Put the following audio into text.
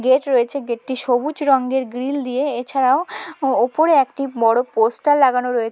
gate রয়েছে gate টি সবুজ রঙের গ্রিল দিয়ে এছাড়াও উপরে একটি বড়ো পোস্টার লাগানো রয়ে--